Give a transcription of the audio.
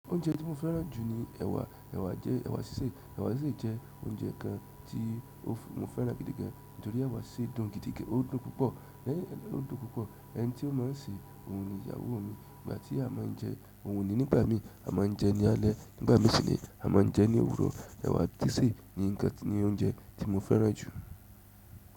Oúnjẹ tí mo fẹ́ràn jù ní ẹ̀wà. Ẹ̀wà jẹ́, ẹ̀wà sísè. Ẹ̀wà sí jẹ́ oúnjẹ kan tí mo fẹ́ràn gidi gan torí ẹ̀wà ṣe dùn gidi gan, ó dùn púpọ̀, lẹ́yìn ó dùn púpọ̀. Ẹni tí ó máa ń sè òun ni ìyàwó mi. Ìgbà tí a máa ń jẹ òun ni nígbà mí, a máa ń jẹ ní alẹ́ nígbà mí sinmi, a máa ń jẹ ní òwúrọ̀. Ẹ̀wà dísì ni nǹkan, ní oúnjẹ tí mo fẹ́ràn jù.